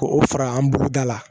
Ko o fara an buruda la